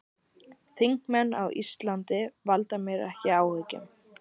Þingmenn á Íslandi valda mér ekki áhyggjum.